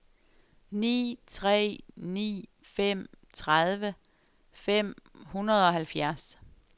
ni tre ni fem tredive fem hundrede og halvfjerds